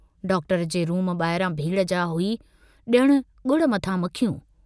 Doctor जे room बाहिरां भीड़ जा हुई, जणु गुड़ मथां मखियूं।